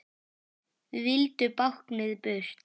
Vildu báknið burt.